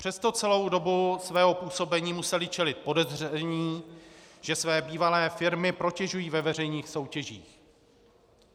Přesto celou dobu svého působení museli čelit podezření, že své bývalé firmy protežují ve veřejných soutěžích.